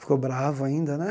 Ficou bravo ainda né.